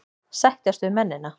Sættast við mennina.